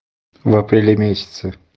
в апреле месяце